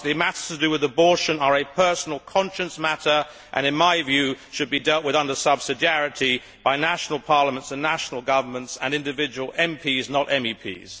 Lastly, matters to do with abortion are a personal conscience matter and in my view should be deal with under subsidiarity by national parliaments and national governments and individual MPs, not MEPs.